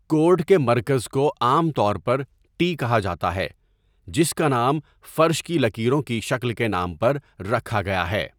Court کے مرکز کو عام طور پر 'ٹی' کہا جاتا ہے، جس کا نام فرش کی لکیروں کی شکل کے نام پر رکھا گیا ہے۔